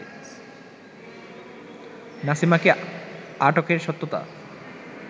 নাসিমাকে আটকের সত্যতা